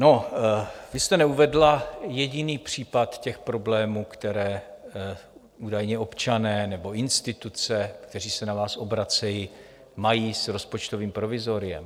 No, vy jste neuvedla jediný případ těch problémů, které údajně občané nebo instituce, které se na vás obracejí, mají s rozpočtovým provizoriem.